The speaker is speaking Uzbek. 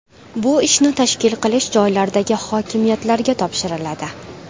Bu ishni tashkil qilish joylardagi hokimiyatlarga topshiriladi.